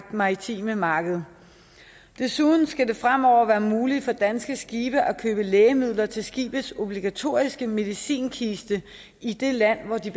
maritime marked desuden skal det fremover være muligt for danske skibe at købe lægemidler til skibets obligatoriske medicinkiste i det land hvor de